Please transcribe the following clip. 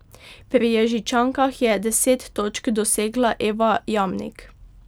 Pri Ježičankah je deset točk dosegla Eva Jamnik.